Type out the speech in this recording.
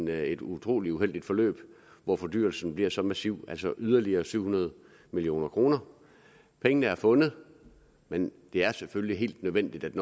været et utrolig uheldigt forløb hvor fordyrelsen er blevet så massiv altså yderligere syv hundrede million kroner pengene er fundet men det er selvfølgelig helt nødvendigt at